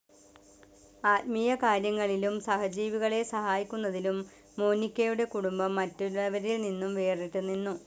ആത്മീയകാര്യങ്ങളിലും സഹജീവികളെ സഹായിക്കുന്നതിലും മോനികയുടെ കുടുംബം മറ്റുള്ളവരിൽ നിന്നും വേറിട്ട് നിന്നു.